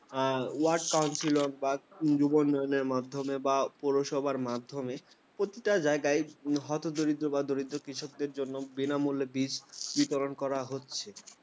wordcounselor বা যুব উন্নয়নের মাধ্যমে বা পৌরসভার মাধ্যমে। প্রতিটা জায়গায় হতদরিদ্র বা দরিদ্র কৃষকদের জন্য বিনামূল্যে বীজ বিতরণ করা হচ্ছে।